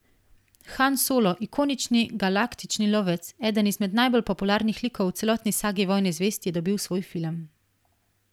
Han Solo, ikonični, galaktični lovec, eden izmed najbolj popularnih likov v celotni sagi Vojne zvezd je dobil svoj film.